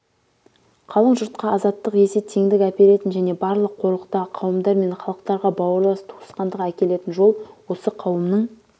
қалың жұртқа азаттық есе теңдік әперетін және барлық қорлықтағы қауымдар мен халықтарға бауырлас туысқандық әкелетін жол осы қауымның